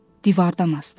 Divardan asdı.